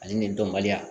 Ani nin dɔnbaliya